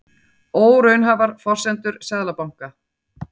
Óraunhæfar forsendur Seðlabanka